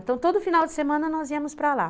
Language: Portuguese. Então, todo final de semana nós íamos para lá.